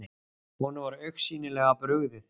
Honum var augsýnilega brugðið.